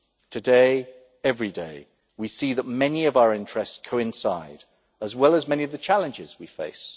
Today, every day, we see that many of our interests coincide, as do many of the challenges we face.